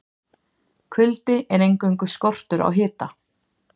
Kuldi er eingöngu skortur á hita.